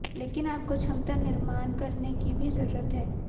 लेकिन आपको क्षमता निर्माण करने की भी जरूरत है